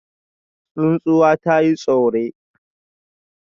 Tsuntsuwa ta yi tsure